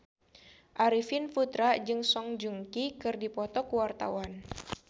Arifin Putra jeung Song Joong Ki keur dipoto ku wartawan